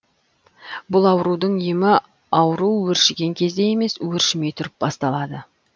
бұл аурудың емі ауру өршіген кезде емес өршімей тұрып басталады